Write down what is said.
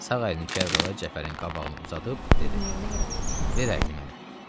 Sağ əlini Kərbəlayı Cəfərin qabağına uzadıb dedi: "Ver əlini mənə."